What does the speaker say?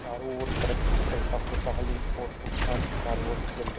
चारों और तरक्की कुशलता खुशहाली और सुख शांति चारों ओर फैल जाए